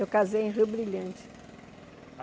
Eu casei em Rio Brilhante.